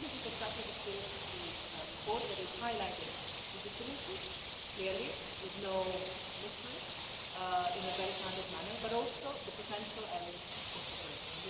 I think this is exactly the spirit of the report, which highlights the differences clearly, with no mystery and in a very candid manner but also the potential areas for cooperation.